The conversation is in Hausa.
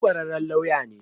Shi kwararren lauya ne.